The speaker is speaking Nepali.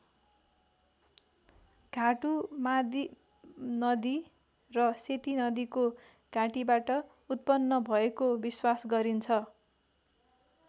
घाटु मादी नदी र सेती नदीको घाँटीबाट उत्पन्न भएको विश्वास गरिन्छ।